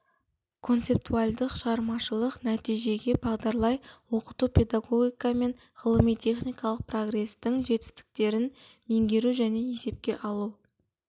концептуальдық шағармашылық нәтижеге бағдарлай оқыту педагогика мен ғылыми техникалық прогрестің жетістіктерін меңгеру және есепке алу